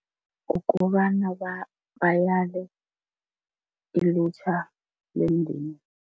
Ukuba ilutjha lemndeni.